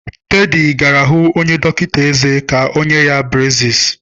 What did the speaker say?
Teddy gara hu onye dọkịta ezé ka o nye ya breziis.